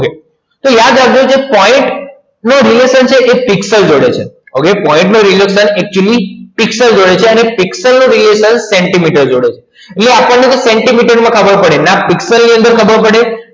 કે યાદ રાખજો કે પિક્ચર જોડે છે અને પિક્સેલનો radiation સેન્ટિમીટર જોઈએ છે એટલે આપણને સેન્ટીમીટર નો ખબર પડે ના પિક્ચર ની અંદર ખબર પડે